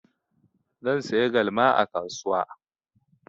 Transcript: Zan saya galma a kasuwa.